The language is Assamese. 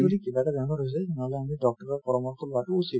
যদি কিবা এটা বেমাৰ হৈছে তেনেহ'লে আমি doctor ৰ পৰামৰ্শ লোৱাটো উচিত